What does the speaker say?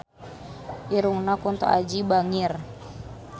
Irungna Kunto Aji bangir